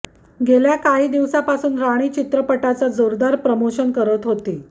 गेल्या काही दिवसांपासून राणी चित्रपटाचं जोरदार प्रमोशन करत होती